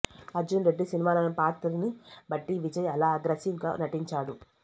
అర్జున్ రెడ్డి సినిమాలోని పాత్రను బట్టి విజయ్ అలా అగ్రీసివ్ గా నటించాడు